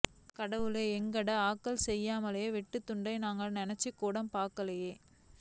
கடவுளே எங்கட ஆக்கள் செய்யினமே வெட்டு குத்தை நான் நினைச்சுக்கூட பாக்கேல்லை